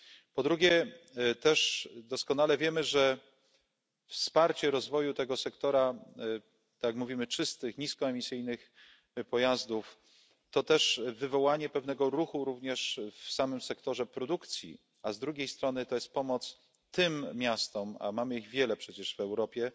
Po drugie, doskonale też wiemy, że wsparcie rozwoju tego sektora, tak jak mówimy czystych, niskoemisyjnych pojazdów, to też wywołanie pewnego ruchu również w samym sektorze produkcji, a z drugiej strony to jest pomoc tym miastom, a mamy ich przecież wiele w Europie,